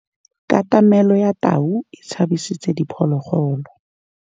Katamêlô ya tau e tshabisitse diphôlôgôlô.